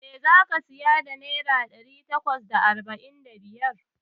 Me zaka siya da naira ɗari takwas da arba'in da biyar?